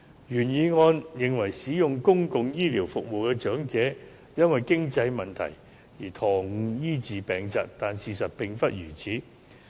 原議案認為，使用公共醫療服務的長者會"因為經濟問題延誤醫治疾病"，但事實並非如此。